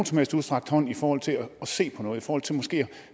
som helst udstrakt hånd i forhold til at se på noget i forhold til måske at